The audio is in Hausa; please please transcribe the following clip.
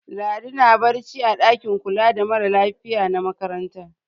Ladi na barci a ɗakin kula da mara lafiya na makaranta.